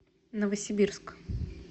новосибирск